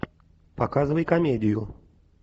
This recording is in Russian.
показывай комедию